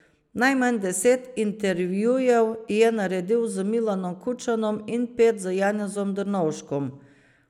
Najmanj deset intervjujev je naredil z Milanom Kučanom in pet z Janezom Drnovškom.